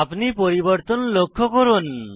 আপনি পরিবর্তন লক্ষ্য করুন